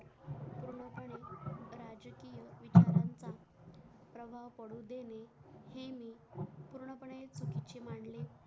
प्रभाव पडू देणे हे मी पूर्ण पणे स्वच्छ मानले